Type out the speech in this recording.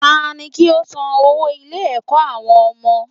Tani kí ó san owó ilé ẹ̀kọ́ àwọn ọmọ